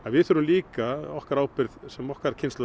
við þurfum líka okkar ábyrgð sem okkar kynslóð